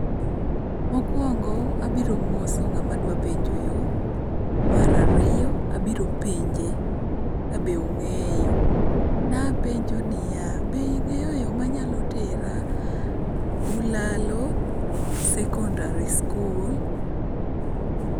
Mokuongo abiro moso ng'ama adwa penjo yo, mar ariyo abiro penje kabe ong'eao. Napenj niya, be ing'eyo yo manyalo tera Ulalo Sekondari Skul?